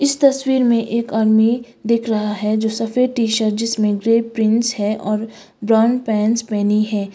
इस तस्वीर में एक आदमी दिख रहा है जो सफेद टी शर्ट जिसमें ग्रे प्रिंट्स है और ब्राउन पैंट्स पहनी है।